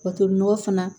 Wa tolinɔgɔ fana